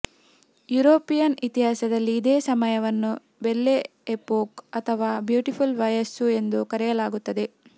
European ಇತಿಹಾಸದಲ್ಲಿ ಇದೇ ಸಮಯವನ್ನು ಬೆಲ್ಲೆ ಎಪೋಕ್ ಅಥವಾ ಬ್ಯೂಟಿಫುಲ್ ವಯಸ್ಸು ಎಂದು ಕರೆಯಲಾಗುತ್ತದೆ